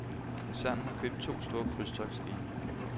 Koncernen har købt to store krydstogtsskibe.